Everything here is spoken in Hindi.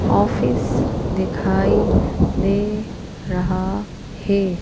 ऑफिस दिखाई दे रहा है।